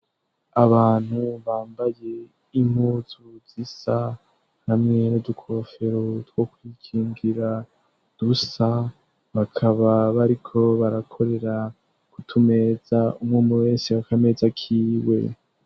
Abantu bambaye impuzu zisa hamwe n'udukofero two kwikingira dusa bakaba bariko barakorera ku tumeza ,umwe umwe wese akameza kiwe.